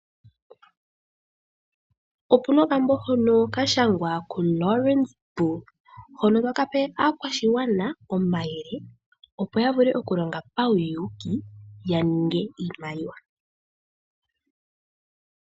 Opuna okambo hono kashangwa ku Laurens Boel, hono takape aakwashigwana omayele opo yavule okulonga pauyuuki yaninge iimaliwa.